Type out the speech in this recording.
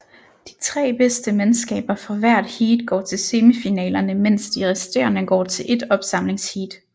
De tre bedste mandskaber fra hvert heat går til semifinalerne mens de resterende går til ét opsamlingsheat